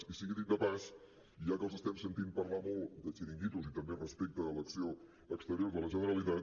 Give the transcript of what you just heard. i sigui dit de pas ja que els estem sentint parlar molt de xiringuitos i també respecte a l’acció exterior de la generalitat